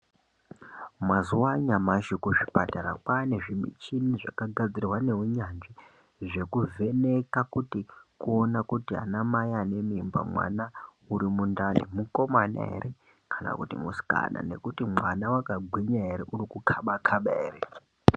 Mazuwano anyamashi kuzvipatara kwane zvimuchini zvakagadzirwe ngeunyanzvi zvekuvheneka kuti kuona kuti anamai ane mimba mwana urimundani mukomana ere kana kuti musikana nekuti mwana wakagwinya ere urikukaba kana ere.